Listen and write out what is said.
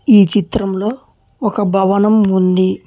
ఈ చిత్రంలో ఒక భవనం ఉంది.